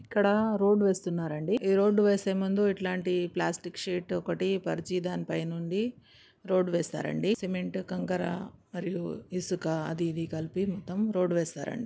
ఇక్కడ రోడ్డు వేస్తున్నారండి ఈ రోడ్డు వేసే ముందు ఇట్లాంటి ప్లాస్టిక్ షీటు ఒకటి పరిచి దానిపై దృష్టి నుండి రోడ్డు వేస్తారండి సిమెంట్ కాంకరా ఇసుక అది ఇది కలిపి మొత్తం రోడ్డు వేస్తారండి.